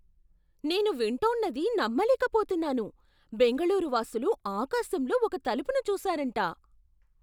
నేను వింటోన్నది నమ్మలేకపోతున్నాను! బెంగళూరు వాసులు ఆకాశంలో ఒక తలుపును చూశారంట!